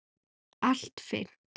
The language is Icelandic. Allt fyrnt.